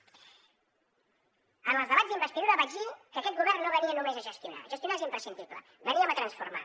en els debats d’investidura vaig dir que aquest govern no venia només a gestionar gestionar és imprescindible que veníem a transformar